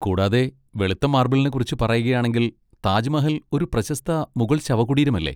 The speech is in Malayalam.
കൂടാതെ, വെളുത്ത മാർബിളിനെക്കുറിച്ച് പറയുകയാണെങ്കിൽ, താജ്മഹൽ ഒരു പ്രശസ്ത മുഗൾ ശവകുടീരമല്ലേ?